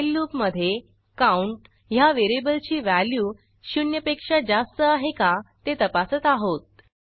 while लूपमधे count ह्या व्हेरिएबलची व्हॅल्यू शून्यपेक्षा जास्त आहे का ते तपासत आहोत